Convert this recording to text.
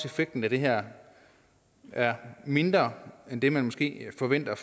effekten af det her er mindre end det man måske forventer